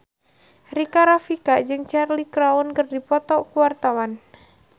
Rika Rafika jeung Cheryl Crow keur dipoto ku wartawan